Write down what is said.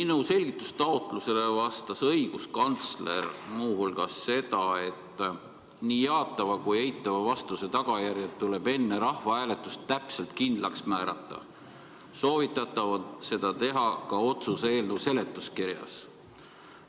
Minu selgitustaotlusele vastas õiguskantsler muu hulgas seda: "Nii jaatava kui ka eitava vastuse tagajärjed tuleb enne rahvahääletust täpselt kindlaks määrata, soovitatav on seda teha ka otsuse eelnõu seletuskirjas.